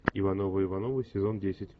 ивановы ивановы сезон десять